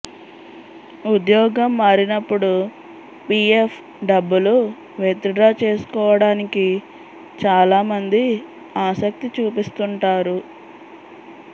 ఉద్యోగం మారినప్పుడు పీఎఫ్ డబ్బులు విత్ డ్రా చేసుకోవడానికి చాలామంది ఆశక్తి చూపిస్తుంటారు